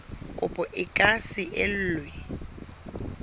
kopo e ka se elwe